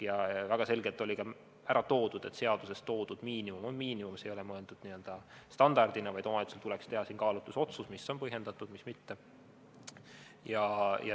Väga selgelt oli ära toodud, et seaduses toodud miinimum on miinimum, see ei ole mõeldud n-ö standardina, vaid omavalitsusel tuleks teha kaalutlusotsus, mis on põhjendatud ja mis mitte.